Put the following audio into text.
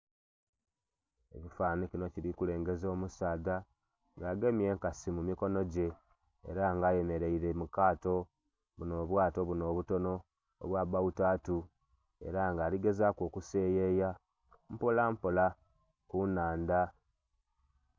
Ekifananhi kinho kili kulengeza omusaadha nga agemye enkasi mu mukonho gye era nga eyemereire mu kaato buno bwato binho obutonho obwa bawotatu era nga ali gezaku okuseyeya mpola mpola ku nhandha.